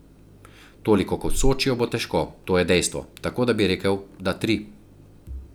Toliko kot v Sočiju bo težko, to je dejstvo, tako da bi rekel, da tri.